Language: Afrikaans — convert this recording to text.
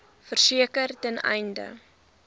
verseker ten einde